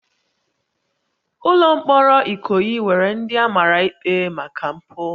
Ụlọ mkpọrọ Ikoyi nwere ndị a mara ikpe maka mpụ